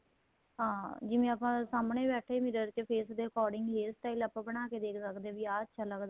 ਹਾਂ ਜਿਵੇਂ ਆਪਾਂ ਸਾਹਮਣੇ ਬੈਠੇ mirror ਚ face according ਹੀ hair style ਬਣਾਕੇ ਦੇਖ ਸਕਦੇ ਹਾਂ ਵੀ ਆ ਅੱਛਾ ਲੱਗਦਾ